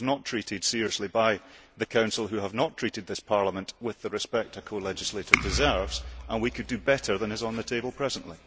It was not treated seriously by the Council, which has not treated this Parliament with the respect a colegislator deserves. We could do better than is on the table at present.